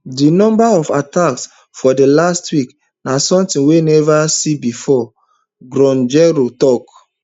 di number of attacks for last week na somtin we never see bifor guichaoua tok